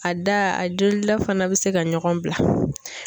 A da a jolila fana bɛ se ka ɲɔgɔn bila.